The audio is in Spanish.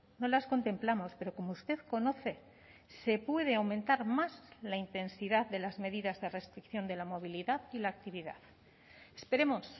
no las contemplamos pero como usted conoce se puede aumentar más la intensidad de las medidas de restricción de la movilidad y la actividad esperemos